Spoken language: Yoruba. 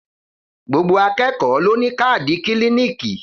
Gbogbo àkẹkọ ló nì kàdí kílìníkì.